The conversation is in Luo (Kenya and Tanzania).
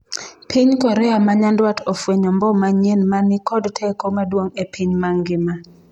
piny Korea ma nyandwat ofwenyo mbom manyien mani kod teko maduong' e piny mangima